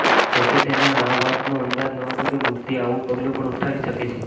જો કે તેને આ વાતનો અંદાજ નહતો કે મૂર્તિ આવુ પગલુ પણ ઊઠાવી શકે છે